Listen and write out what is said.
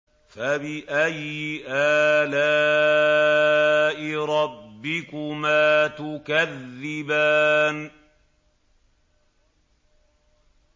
فَبِأَيِّ آلَاءِ رَبِّكُمَا تُكَذِّبَانِ